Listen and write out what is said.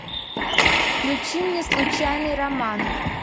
включи мне случайный роман